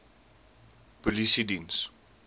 polisiediens